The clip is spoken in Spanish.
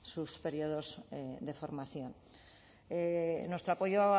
sus periodos de formación nuestro apoyo